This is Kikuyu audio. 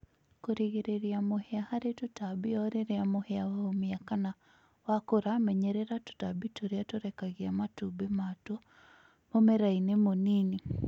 Kũrigĩrĩria mũhĩa harĩ tũtambi orĩrĩa mũhĩa waumia kana wakũra menyerera tũtambi tũrĩa tũrekagia matumbĩ matwo mũmerainĩ mũnini